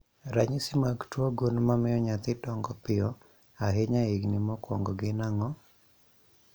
Ranyisi mag tuo gund mamio nyathi dongo piyo ahinya e higni mokwongo gin ang'o?